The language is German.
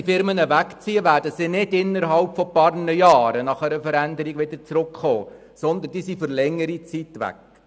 Ziehen diese weg, werden sie nicht innerhalb weniger Jahre wieder zurückkehren, sondern für längere Zeit wegbleiben.